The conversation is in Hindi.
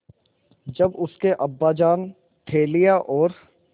जब उसके अब्बाजान थैलियाँ और